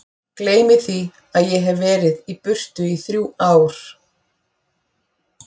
Gleymi því að ég hef verið í burtu í þrjú ár.